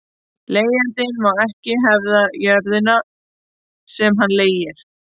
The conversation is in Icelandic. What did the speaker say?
Leigjandi má ekki hefða jörðina sem hann leigir.